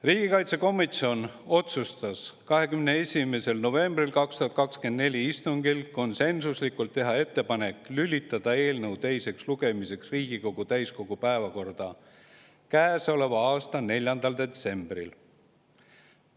Riigikaitsekomisjon otsustas 21. novembri 2024 istungil konsensuslikult teha ettepaneku lülitada eelnõu teiseks lugemiseks Riigikogu täiskogu päevakorda käesoleva aasta 4. detsembriks.